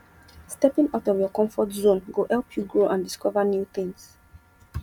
stepping out of your comfort zone go help you grow and discover new tings